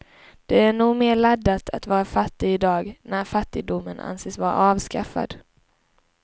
Det är nog mer laddat att vara fattig i dag, när fattigdomen anses vara avskaffad.